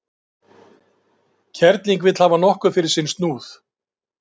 Kerling vill hafa nokkuð fyrir sinn snúð.